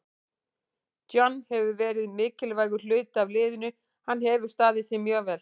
John hefur verið mikilvægur hluti af liðinu, hann hefur staðið sig mjög vel.